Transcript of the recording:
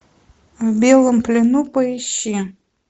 в белом плену поищи